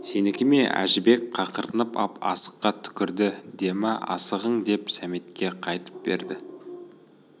сенікі ме әжібек қақырынып ап асыққа түкірді демә асығың деп сәметке қайтып берді